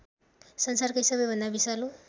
संसारकै सबैभन्दा विषालु